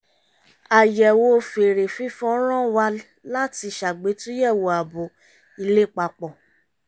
àyẹ̀wò fèrè fífọn rán wa látí ṣàgbétúyẹ̀wò ààbò ilé papọ̀